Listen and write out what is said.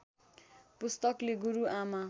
पुस्तकले गुरु आमा